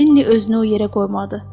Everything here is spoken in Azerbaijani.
Linni özünü o yerə qoymadı.